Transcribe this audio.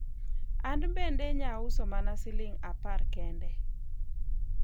an bende nyauso mana siling' apar kende